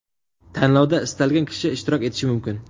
Tanlovda istalgan kishi ishtirok etishi mumkin.